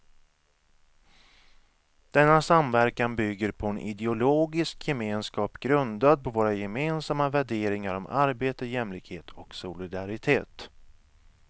Denna samverkan bygger på en ideologisk gemenskap grundad på våra gemensamma värderingar om arbete, jämlikhet och solidaritet.